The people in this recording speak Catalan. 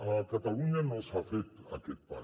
a catalunya no s’ha fet aquest pas